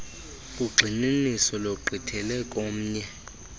ugxininiso lugqithele komnye